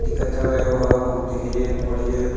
दिखत हवय ओ ह बहुत ही बढ़ियाँ--